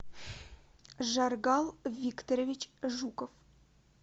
жаргал викторович жуков